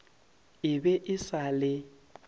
e be e sa le